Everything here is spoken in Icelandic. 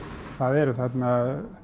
það eru þarna